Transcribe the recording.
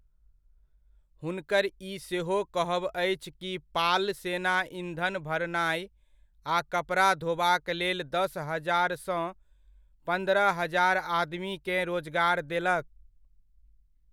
हुनकर ई सेहो कहब अछि कि पाल सेना ईंधन भरनाइ आ कपड़ा धोबाक लेल दस हजार सँ पन्द्रह हजार आदमीकेँ रोजगार देलक।